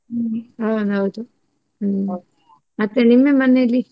ಹ್ಮ್ ಹಾ ಹೌದು ಮತ್ತೆ ನಿಮ್ಮ ಮನೆಯಲ್ಲಿ?